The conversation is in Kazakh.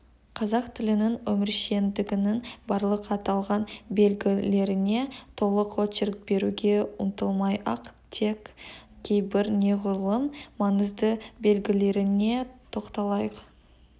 қазақ тілінің өміршеңдігінің барлық аталған белгілеріне толық очерк беруге ұмтылмай-ақ тек кейбір неғұрлым маңызді белгілеріне тоқталайық